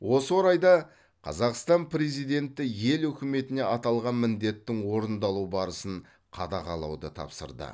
осы орайда қазақстан президенті ел үкіметіне аталған міндеттің орындалу барысын қадағалауды тапсырды